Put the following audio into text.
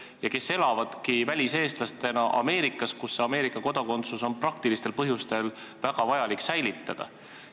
Selline pere elab väliseestlastena Ameerikas, kus Ameerika kodakondsus on praktilistel põhjustel väga vajalik säilitada.